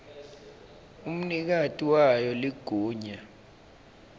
umnikati wayo ligunya